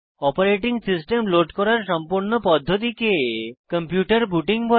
operating system load করার সম্পূর্ণ পদ্ধতিকে কম্পিউটার বুটিং বলে